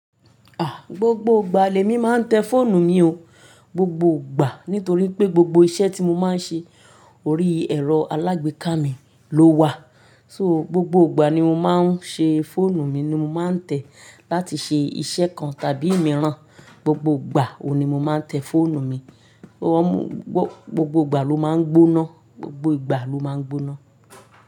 Ah! Gbogbo ìgbà lèmi máa ń tẹ fóònù ni o, gbogbo ìgbà. Nítorí pé gbogbo iṣẹ́ tí mo máa ń ṣe ori ẹ̀rọ alágbèéká mi ló wà. So gbogbo ìgbà ni mo máa ń ṣe fóònù mi ni mo máa ń tẹ̀ láti ṣe iṣẹ́ kan tàbí mìíràn, gbogbo ìgbà wo ni mo máa ń tẹ fóònù mi. Gbogbo ìgbà ló máa ń gbóná, gbogbo ìgbà ló máa ń gbóná.